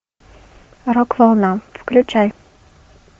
рок волна включай